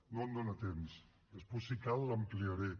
no em dóna temps després si cal l’ampliaré